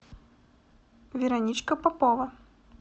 вероничка попова